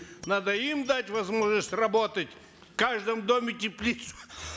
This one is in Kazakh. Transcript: надо им дать возможность работать в каждом доме теплицу